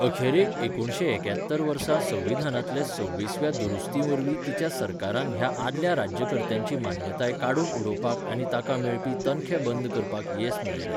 अखेरेक एकुणशे एक्यात्तर वर्सा संविधानांतले सव्वीसव्या दुरुस्तीवरवीं तिच्या सरकारान ह्या आदल्या राज्यकर्त्यांची मान्यताय काडून उडोवपाक आनी तांकां मेळपी तनखे बंद करपाक येस मेळयलें.